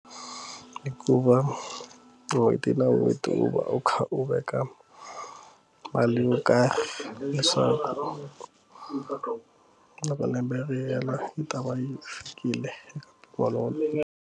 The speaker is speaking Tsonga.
Ku va n'hweti na n'hweti u va u kha u veka mali yo karhi leswaku loko lembe ri hela yi ta va yi fikile kolomo.